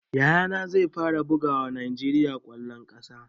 Yaya na zai fara bugawa najeriya kwallon kasa